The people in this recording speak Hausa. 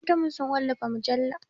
Ɗaliban makarantarmu su wallafa mujalla.